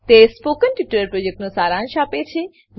તે spoken tutorial પ્રોજેક્ટનો સારાંશ આપે છે